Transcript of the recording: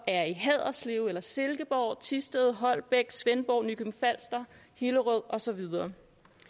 er i haderslev eller i silkeborg thisted holbæk svendborg nykøbing falster hillerød og så videre